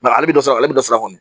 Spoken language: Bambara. ale bɛ dɔ sɔrɔ ale bɛ dɔ sara kɔni